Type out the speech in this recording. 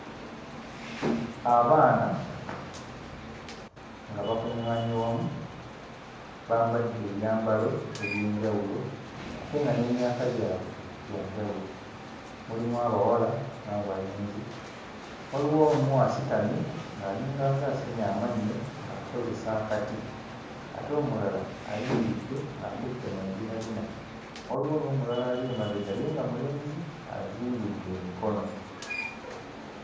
Abaana nga bakuŋŋaanye wamu bambadde ebyambalo eby'enjawulo ate nga n'emyaka gyabwe gya njawulo. Mulimu abawala n'abalenzi, waliwo omu asitamye ng'alinganga asenya amannyo ng'akozesa akati ate omulala ayimiridde ng'akutte mu mbinabina, waliwo n'omulala ali emabega ye nga mulenzi azingidde emikono.